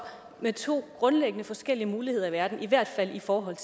med to grundlæggende forskellige muligheder i verden i hvert fald i forhold